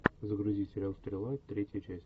загрузи сериал стрела третья часть